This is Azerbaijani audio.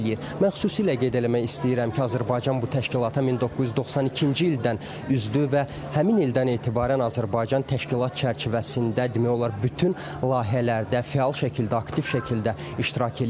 Mən xüsusilə qeyd eləmək istəyirəm ki, Azərbaycan bu təşkilata 1992-ci ildən üzvdür və həmin ildən etibarən Azərbaycan təşkilat çərçivəsində demək olar bütün layihələrdə fəal şəkildə, aktiv şəkildə iştirak eləyir.